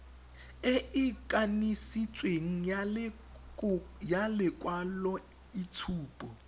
e e kanisitsweng ya lekwaloitshupo